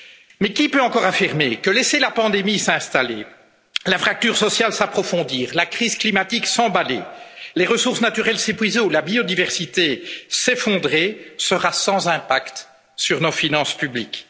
Mais qui peut encore affirmer que laisser la pandémie s'installer, la fracture sociale s'approfondir, la crise climatique s'emballer, les ressources naturelles s'épuiser ou la biodiversité s'effondrer sera sans impact sur nos finances publiques